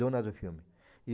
Dona do filme. E